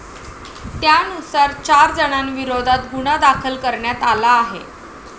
त्यानुसार, चार जणांविरोधात गुन्हा दाखल करण्यात आला आहे.